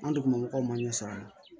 An degugumabaga ɲɛ sɔrɔ a la